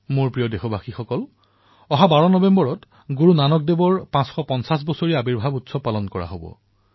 মোৰ মৰমৰ দেশবাসীসকল ১২ নৱেম্বৰ ২০১৯ এই দিনটোতেই সমগ্ৰ বিশ্বতে শ্ৰী গুৰুনানক দেৱজীৰ ৫৫০তম প্ৰকাশোৎৱ পালন কৰা হব